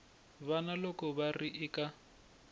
vana loko va ri eku